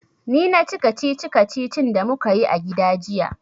Ni na ci kacici-kacicin da mu ka yi a gida jiya.